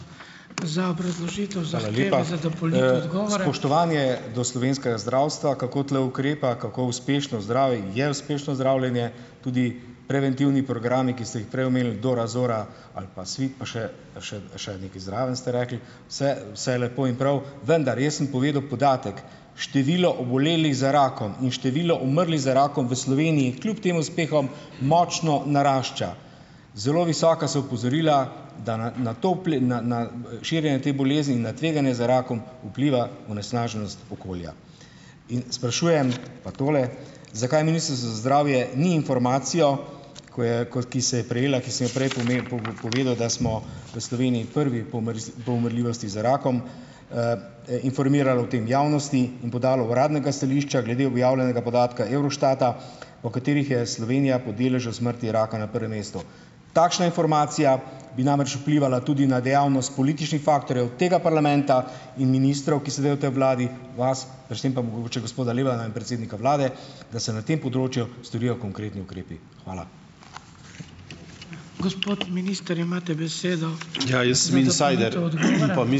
Hvala lepa. Spoštovanje do slovenskega zdravstva, kako tule ukrepa, kako uspešno zdravi, je uspešno zdravljenje, tudi preventivni programi, ki ste jih prej omenili Dora, Zora ali pa Svit pa še, pa še, a še nekaj zraven ste rekli, vse, vse lepo in prav, vendar jaz sem povedal podatek: Število obolelih za rakom in število umrlih za rakom v Sloveniji kljub tem uspehom močno narašča. Zelo visoka so opozorila, da na, na to, uple, na, na, širjenje te bolezni, na tveganje za rakom vpliva onesnaženost okolja. In sprašujem pa tole: Zakaj ministrstvo za zdravje ni informacijo, ko je, ko, ki se je prejela, ki sem jo prej po povedal, da smo v Sloveniji prvi po po umrljivosti za rakom, informiralo o tem javnosti in podalo uradnega stališča glede objavljenega podatka Eurostata, po katerih je Slovenija po deležu smrti raka na prvem mestu. Takšna informacija bi namreč vplivala tudi na dejavnost političnih faktorju tega parlamenta in ministrov, ki sedejo v tej v vladi, vas, predvsem pa mogoče gospoda Lebna in predsednika vlade, da se na tem področju storijo konkretni ukrepi. Hvala.